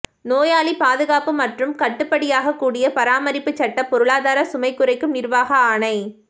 நோயாளி பாதுகாப்பு மற்றும் கட்டுப்படியாகக்கூடிய பராமரிப்பு சட்டம் பொருளாதார சுமை குறைக்கும் நிர்வாக ஆணை